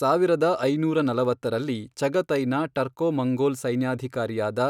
ಸಾವಿರದ ಐನೂರ ನಲವತ್ತರಲ್ಲಿ, ಚಗತೈನ ಟರ್ಕೊ ಮಂಗೋಲ್ ಸೈನ್ಯಾಧಿಕಾರಿಯಾದ